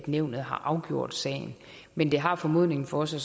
nævnet har afgjort sagen men det har formodningen for sig